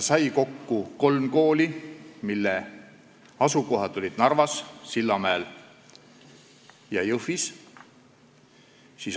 Tekkis kolm kooli, mis asusid Narvas, Sillamäel ja Jõhvis.